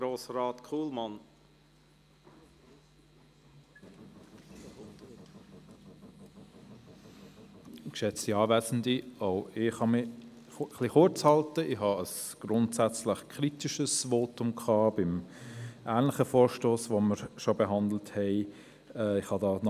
Auch ich kann mich kurz fassen, denn ich habe ein grundsätzlich kritisches Votum zu einem ähnlichen, bereits behandelten Vorstoss gehalten.